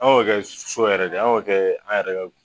Anw kɛ so yɛrɛ de an kɛ an yɛrɛ